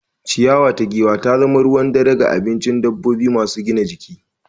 Ciyawa ta giwa ta zama ruwan dare ga abincin dabbobi masu gina jiki.